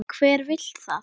Hver vill það?